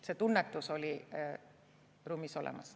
See tunnetus oli ruumis olemas.